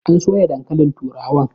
An soya Dankalin turawan